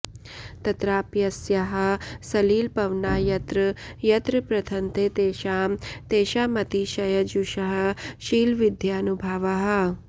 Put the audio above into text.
तत्राप्यस्याः सलिलपवना यत्र यत्र प्रथन्ते तेषां तेषामतिशयजुषः शीलविद्यानुभावाः